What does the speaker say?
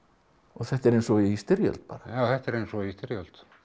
þetta er eins og í styrjöld bara já þetta er eins og í styrjöld